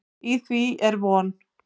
Í því er von.